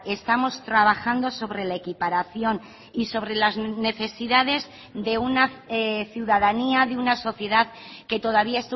estamos trabajando sobre la equiparación y sobre las necesidades de una ciudadanía de una sociedad que todavía